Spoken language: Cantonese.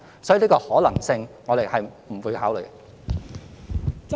所以，這個可能性我們是不會考慮的。